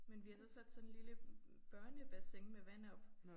Men vi har så sat sådan et lille børnebassin med vand op